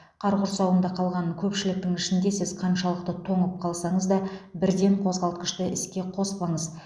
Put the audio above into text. қар құрсауында қалған көпшіліктің ішінде сіз қаншалықты тоңып қалсаңыз да бірден қозғалтқышты іске қоспаңыз